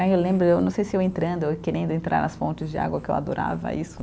Ai eu lembro, eu não sei se eu entrando, ou querendo entrar nas fontes de água, que eu adorava isso,